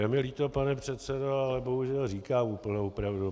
Je mi líto, pane předsedo, ale bohužel říkám úplnou pravdu.